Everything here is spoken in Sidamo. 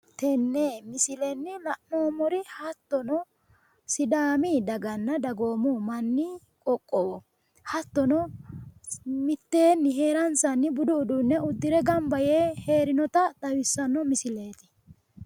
Tene misillenni la'noomori hattono sidaami daganna dagoomu manni qoqowo hattono miteenni heeransanni budu uduune udire gamba yee heerinota xawissano misilleeti.